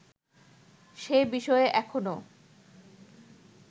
সে বিষয়ে এখনও